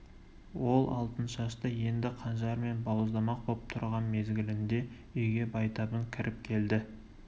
ол алтыншашты енді қанжармен бауыздамақ боп тұрған мезгілінде үйге байтабын кіріп келді